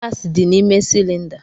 Gasi dị n'ime cylinder.